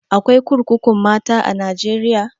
Akwai kurkukun mata a najeriya?